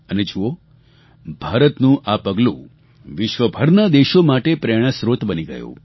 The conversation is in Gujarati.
અને જુઓ ભારતનું આ પગલું વિશ્વભરના દેશો માટે પ્રેરણાસ્ત્રોત બની ગયું